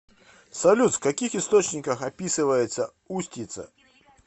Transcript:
салют в каких источниках описывается устьица